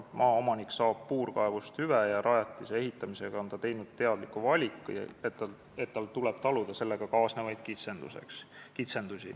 Maaomanik saab puurkaevust hüve ja rajatise ehitamisega on ta teinud teadliku valiku, et tal tuleb taluda sellega kaasnevaid kitsendusi.